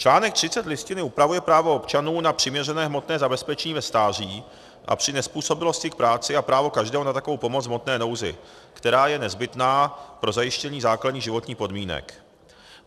Článek 30 Listiny upravuje právo občanů na přiměřené hmotné zabezpečení ve stáří a při nezpůsobilosti k práci a právo každého na takovou pomoc v hmotné nouzi, která je nezbytná pro zajištění základních životních podmínek.